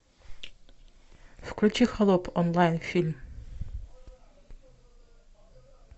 включи холоп онлайн фильм